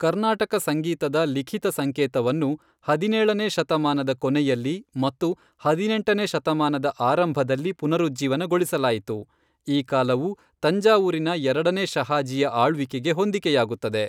ಕರ್ನಾಟಕ ಸಂಗೀತದ ಲಿಖಿತ ಸಂಕೇತವನ್ನು ಹದಿನೇಳನೇ ಶತಮಾನದ ಕೊನೆಯಲ್ಲಿ ಮತ್ತು ಹದಿನೆಂಟನೇ ಶತಮಾನದ ಆರಂಭದಲ್ಲಿ ಪುನರುಜ್ಜೀವನಗೊಳಿಸಲಾಯಿತು, ಈ ಕಾಲವು ತಂಜಾವೂರಿನ ಎರಡನೇ ಶಹಾಜಿಯ ಆಳ್ವಿಕೆಗೆ ಹೊಂದಿಕೆಯಾಗುತ್ತದೆ.